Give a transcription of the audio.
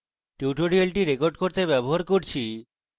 tutorial record করতে আমি ব্যবহার করছি: